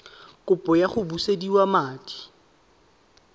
kopo ya go busediwa madi